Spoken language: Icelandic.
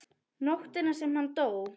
Nóttina sem hann dó?